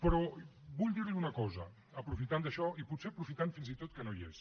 però vull dir li una cosa aprofitant això i potser aprofitant fins i tot que no hi és